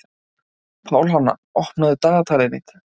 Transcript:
Pálhanna, opnaðu dagatalið mitt.